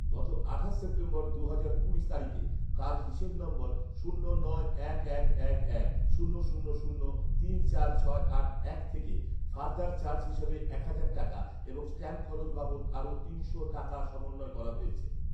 গত আঠাশ সেপ্টেম্বর’ দুহাজার কুড়ি তারিখে তাঁর হিসাব নম্বর শূন্য নয় এক এক এক এক শূন্য শূন্য শূন্য তিন চার ছয় আট এক এক তিন থেকে ফারদার চার্জ হিসেবে এক হাজার টাকা এবং ষ্ট্যাম্প খরচ বাবদ আরও তিনশো টাকা সমন্বয় করা হয়েছে